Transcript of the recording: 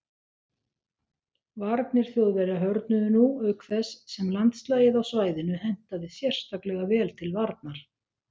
Varnir Þjóðverja hörðnuðu nú auk þess sem landslagið á svæðinu hentaði sérstaklega vel til varnar.